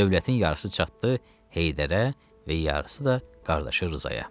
Dövlətin yarısı çatdı Heydərə və yarısı da qardaşı Rzaya.